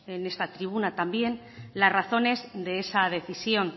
en esta tribuna también las razones de esa decisión